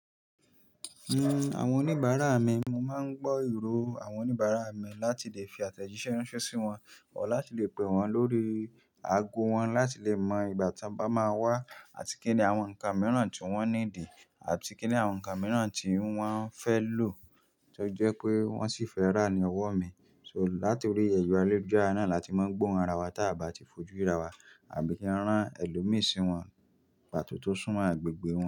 Ehn, àwọn oníbàárà mi, mo máa ń gbọ́ ìró àwọn oníbàárà mi láti lè fi àtẹ̀jíṣẹ́ ránṣẹ́ sí wọn o láti lè pè wọ́n lórí ago wọn láti lè mọ ìgbà tí a bá máa wá àti kíni àwọn ǹkan mìíràn tí wọ́n ní dì àti kíni àwọn ǹkan mìíràn tí wọ́n fẹ́ lò tó jẹ́ pé wọ́n sì fẹ́ rà ní ọwọ́ mi. So, láti orí ẹ̀rọ ayélujára náà láti máa gbọ́ wọn ra wá tí a bá ti fojú ríra wa àbí kí a rán ẹlòmíì sí wọn pàtó tó súnmọ́ agbègbè wọn.